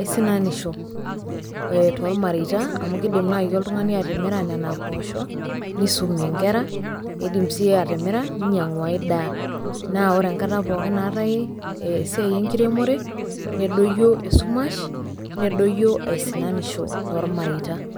aisinanisho tolmareita amu keidim nai oltung'ani atimira nena poosho, neisumie inkera, eidim sii atimira neinyang'u ai daa. Naa ore enkata pookin naatai esiai enkiremore, nedoyio esumash, nedoyio aisinanisho tolmareita.